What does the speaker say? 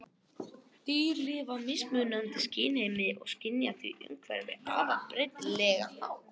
Dýr lifa í mismunandi skynheimi og skynja því umhverfið á afar breytilegan hátt.